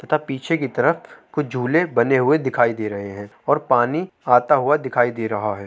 तथा पीछे की तरफ कुछ झूले बने हुए दिखाई दे रहे हैं और पानी आता हुआ दिखाई दे रहा है।